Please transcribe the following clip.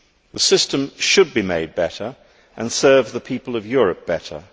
The system should be made better and serve the people of Europe better.